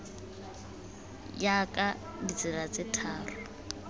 ya ka ditsela tse tharo